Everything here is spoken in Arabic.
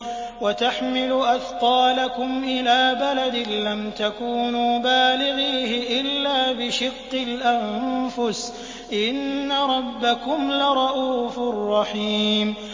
وَتَحْمِلُ أَثْقَالَكُمْ إِلَىٰ بَلَدٍ لَّمْ تَكُونُوا بَالِغِيهِ إِلَّا بِشِقِّ الْأَنفُسِ ۚ إِنَّ رَبَّكُمْ لَرَءُوفٌ رَّحِيمٌ